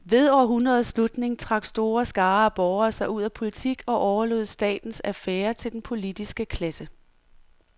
Ved århundredets slutning trak store skarer af borgere sig ud af politik og overlod statens affærer til den politiske klasse.